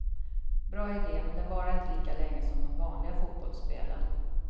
Bra idé, men den varar inte lika länge som de vanliga fotbollsspelen.